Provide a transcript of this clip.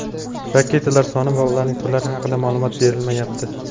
Raketalar soni va ularning turlari haqida ma’lumot berilmayapti.